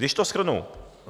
Když to shrnu.